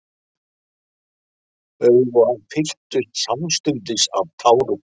Augu hans fylltust samstundis af tárum.